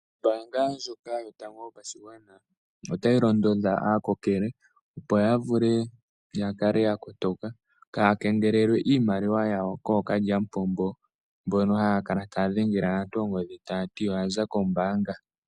Ombaanga ndyoka yotango yopashigwana, otayi londodha aakokele opo kaaya kengelelwe iimaliwa yawo kookalyamupombo, mbono haya kala taya dhengele aantu oongodhi, tayati oya za kombaanga.